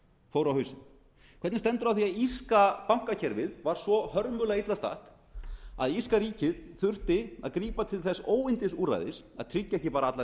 fór á hausinn hvernig stendur á því að írska bankakerfið var svo hörmulega illa statt að írska ríkið þurfti að grípa til þess óyndisúrræðis að tryggja ekki bara allar